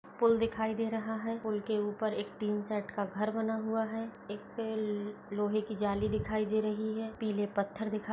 पुल दिखायी दे रहा है पुल के ऊपर एक टिन सेट का घर बना हुआ है एक लोहे की जाली दिखायी दे रही है पीले पत्थर दिखायी --